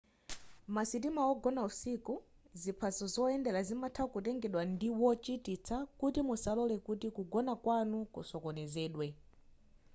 masitima ogona usiku ziphaso zoyendera zimatha kutengedwa ndi wochititsa kuti musalore kuti kugona kwanu kusokonezedwe